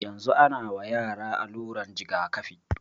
Yanzun ana wa yara aluran jigakafi